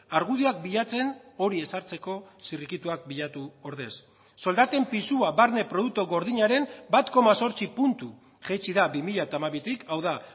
argudioak bilatzen hori ezartzeko zirrikituak bilatu ordez soldaten pisua barne produktu gordinaren bat koma zortzi puntu jaitsi da bi mila hamabitik hau da